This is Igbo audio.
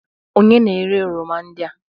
Onye na-ere oroma ndị a?